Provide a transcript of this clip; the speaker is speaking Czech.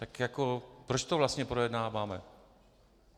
Tak jako proč to vlastně projednáváme?